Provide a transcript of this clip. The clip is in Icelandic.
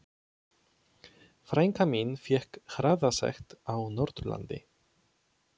Frænka mín fékk hraðasekt á Norðurlandi.